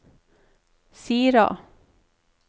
Sira